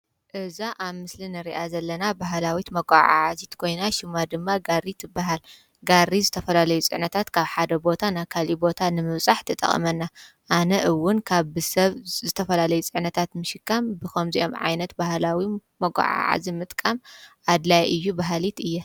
እዛ ኣብ ምስሊ ንሪኣ ዘለና ባህላዊት መጓዓዓዚት ኮይና ሽማ ድማ ጋሪ ትበሃል፡፡ ጋሪ ዝተፈላለዩ ፅዕነታት ካብ ሓደ ቦታ ናብ ካሊእ ቦታ ንምብፃሕ ትጠቕመና፡፡ ኣነ እውን ካብ ብሰብ ዝተፈላለዩ ፅዕነታት ምሽካም ብኸምዚኦም ዓይነት ባህላዊ መጓዓዓዚ ምጥቃም ኣድላዪ እዩ በሃሊት እየ፡፡